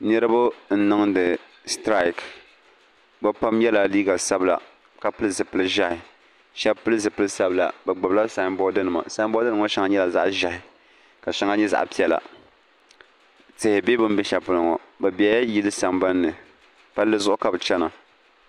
Niriba n niŋdi aitiraki bɛ pam yela liiga sabla ka pili zipil'ʒehi sheba pili zipil'sabila bɛ gbibi la samboori nima boori nima ŋɔ sheŋa nyɛla zaɣa ʒehi ka sheŋa nyɛ zaɣa piɛla tihi be bini be shelipolo ŋɔ bɛ bela yili sambanni palli zuɣu ka bɛ chena.